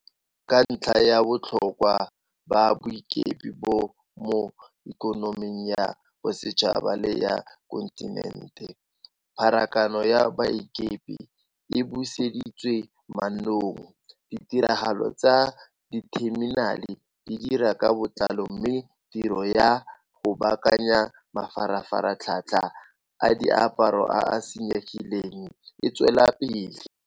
Ka ntlha ya botlhokwa ba boikepi bo mo ikonoming ya bosetšhaba le ya kontinente, pharakano ya baikepi e buseditswe mannong, ditiragalo tsa ditheminale di dira ka botlalo mme tiro ya go baakanya mafaratlhatlha a diaparo a a senyegileng e tswelela pele.